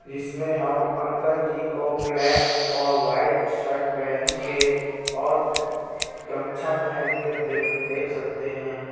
इसमें हम अंकल जी को ब्लैक और वाइट शर्ट पहेन के और गमछा पहेन के देख-देख सकते हैं.